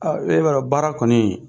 e b'a dɔn baara kɔni